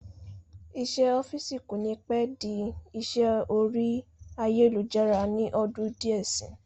Isẹ́ ọ́fìsì kò ní pẹ́ di isẹ́ orí ayélujára ní ọdún díẹ̀ sí